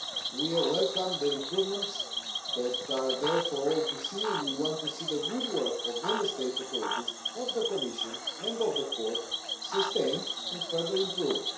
We welcome the improvements that are there for all to see, and we want to see the good work of Member States' authorities, of the Commission and of the Court, sustained and further improved.